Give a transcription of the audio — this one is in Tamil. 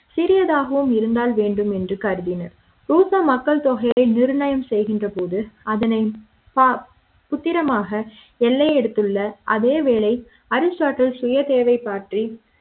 சிறிய தாகவும் இருந்தால் வேண்டுமென்று கருதினர் ரூசோ மக்கள் தொகை நிர்ணயம் செய்கின்ற போது அதனை பத்திர மாக எல்லை அடுத்துள்ள அதே வேளை அரிஸ்டா டில் சுய தேவை பற்றி